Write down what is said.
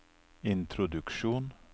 introduksjon